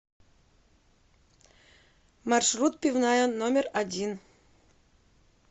маршрут пивная номер один